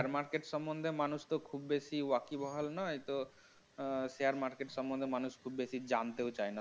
share market এর সম্বন্ধে মানুষ তো খুব বেশি নয় share market সম্বন্ধে মানুষ খুব বেশি জানতেও চায়